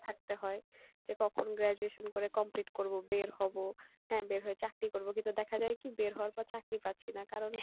থাকতে হয় যে কখন graduation করে complete করবো, বের হবো হ্যাঁ বের হয়ে চাকরি করবো কিন্তু দেখা যাই কী বের হওয়ার পর চাকরি পাচ্ছি না, কারন